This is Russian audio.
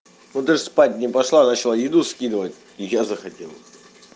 ну ты ж спать не пошла начала еду скидывать и я захотел